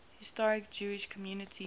historic jewish communities